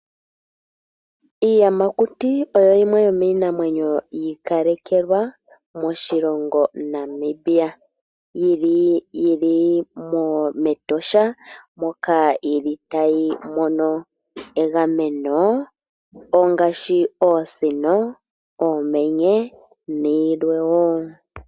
Iiyamakuti oyo yimwe yomiinamwenyo yi ikalekelwa moshilongo Namibia, yili mEtosha moka yili tayi mono egameno, ongaashi oosino, oomenye nayilwe woo.